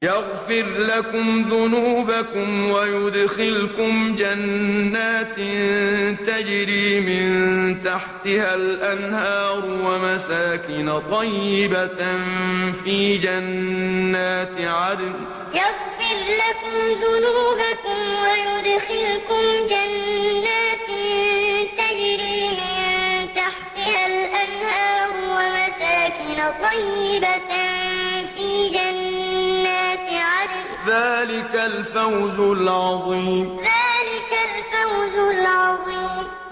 يَغْفِرْ لَكُمْ ذُنُوبَكُمْ وَيُدْخِلْكُمْ جَنَّاتٍ تَجْرِي مِن تَحْتِهَا الْأَنْهَارُ وَمَسَاكِنَ طَيِّبَةً فِي جَنَّاتِ عَدْنٍ ۚ ذَٰلِكَ الْفَوْزُ الْعَظِيمُ يَغْفِرْ لَكُمْ ذُنُوبَكُمْ وَيُدْخِلْكُمْ جَنَّاتٍ تَجْرِي مِن تَحْتِهَا الْأَنْهَارُ وَمَسَاكِنَ طَيِّبَةً فِي جَنَّاتِ عَدْنٍ ۚ ذَٰلِكَ الْفَوْزُ الْعَظِيمُ